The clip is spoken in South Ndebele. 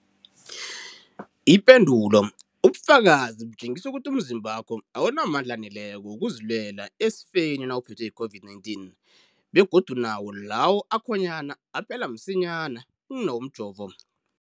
Ipendulo, ubufakazi butjengisa ukuthi umzimbakho awunamandla aneleko wokuzilwela esifeni nawuphethwe yi-COVID-19, begodu nawo lawo akhonyana aphela msinyana kunawomjovo.